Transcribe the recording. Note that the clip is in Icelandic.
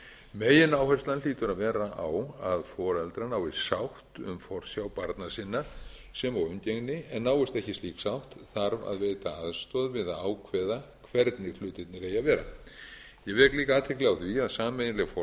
megináherslan hlýtur að vera á að foreldrar nái sátt um forsjá barna sinna sem og umgengni en náist ekki slík sátt þarf að veita sátt við að ákveða hvernig hlutirnir eigi að vera ég vek líka athygli á því að sameiginleg